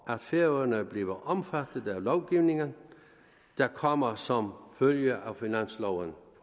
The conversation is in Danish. at færøerne bliver omfattet af lovgivningen der kommer som følge af finansloven